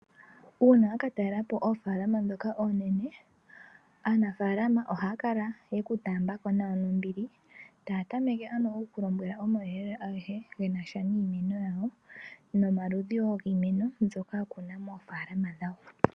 Uuna wa katalelapo oofalalama ndhoka oonene aanafaalama ohaya kala yeku taaambako nawa nombili taya tameke ndunk okukulombwela omauyelele agehe genasha niimeno yawo nomaludhi woo giimeno mbyoka yakuna moofalama dhawo.